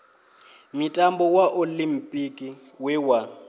mutambo wa oḽimpiki we wa